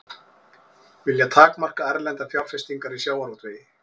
Vilja takmarka erlendar fjárfestingar í sjávarútvegi